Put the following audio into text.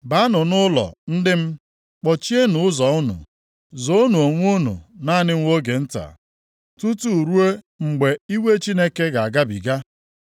Baanụ nʼụlọ, ndị m, kpọchienụ ụzọ unu! Zoonụ onwe unu naanị nwa oge nta, tutu ruo mgbe iwe Chineke ga-agabiga.